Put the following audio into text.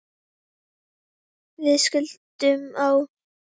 Við skildum á